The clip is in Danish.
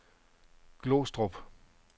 Glostrup